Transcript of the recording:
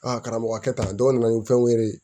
karamɔgɔ kɛ tan dɔw nana ni fɛnw ye